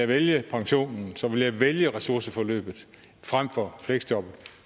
vælge pensionen så vil man vælge ressourceforløbet frem for fleksjobbet